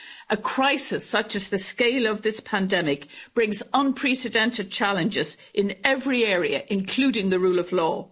A crisis such as the scale of this pandemic brings unprecedented challenges in every area, including the rule of law.